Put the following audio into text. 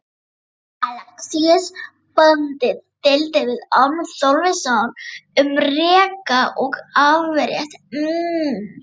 Alexíus bóndi deildi við Orm Þorleifsson um reka og afrétt.